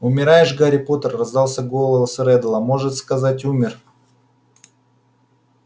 умираешь гарри поттер раздался голос реддла может сказать умер